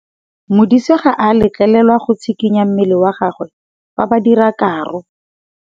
Modise ga a letlelelwa go tshikinya mmele wa gagwe fa ba dira karô.